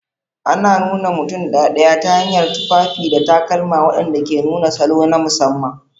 Ana nuna mutum ɗaɗaya ta hanyar tufafi da takalma waɗanda ke nuna salo na musamman.